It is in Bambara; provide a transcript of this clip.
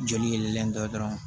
Joli yɛlɛlen dɔ dɔrɔn